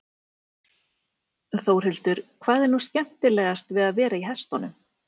Þórhildur: Hvað er nú skemmtilegast við að vera í hestunum?